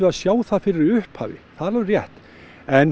að sjá það fyrir í upphafi það er alveg rétt en